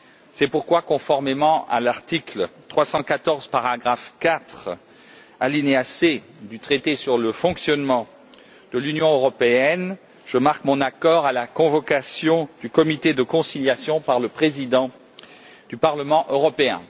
C'est pourquoi, conformément à l'article 314, paragraphe 4, point c, du traité sur le fonctionnement de l'Union européenne, je marque mon accord à la convocation du comité de conciliation par le président du Parlement européen.